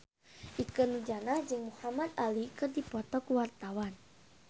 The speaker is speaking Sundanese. Ikke Nurjanah jeung Muhamad Ali keur dipoto ku wartawan